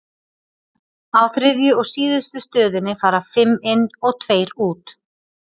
á þriðju og síðustu stöðinni fara fimm inn og tveir út